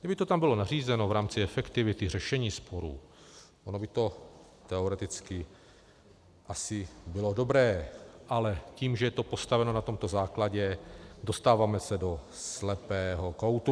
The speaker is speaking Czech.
Kdyby to tam bylo nařízeno v rámci efektivity řešení sporů, ono by to teoreticky asi bylo dobré, ale tím, že je to postaveno na tomto základě, dostáváme se do slepého koutu.